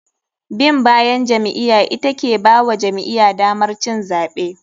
Bin bayan jam'iya ita ke bawa jam'iya damar cin zaɓe.